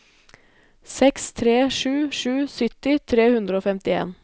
seks tre sju sju sytti tre hundre og femtien